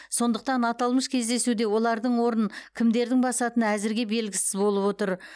сондықтан аталмыш кездесуде олардың орнын кімдердің басатыны әзірге белгісіз болып отыр